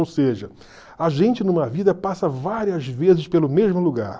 Ou seja, a gente numa vida passa várias vezes pelo mesmo lugar.